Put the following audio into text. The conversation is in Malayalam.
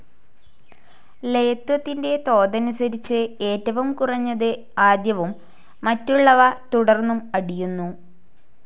ലെയത്വത്തിൻ്റെ തോതനുസരിച്ച്, ഏറ്റവും കുറഞ്ഞത് ആദ്യവും മറ്റുള്ളവ തുടർന്നും അടിയുന്നു.